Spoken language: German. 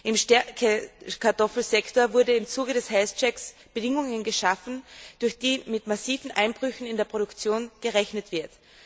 Im Stärkekartoffelsektor wurden im Zuge des health check Bedingungen geschaffen, durch die mit massiven Einbrüchen in der Produktion gerechnet wird.